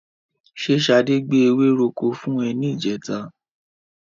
Ṣé Ṣadé gbé ewéròkó fún ẹ ní ìjẹta?